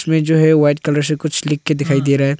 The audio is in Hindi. में जो है व्हाइट कलर से कुछ लिख के दिखाई दे रहा है।